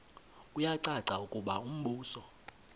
kuyacaca ukuba umbuso